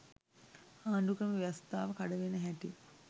ආණ්ඩුක්‍රම ව්‍යවස්ථාව කඩ වෙන හැටි